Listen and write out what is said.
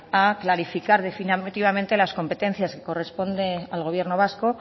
a clarificar definitivamente las competencias que corresponden al gobierno vasco